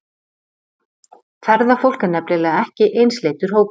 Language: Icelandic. Ferðafólk er nefnilega ekki einsleitur hópur.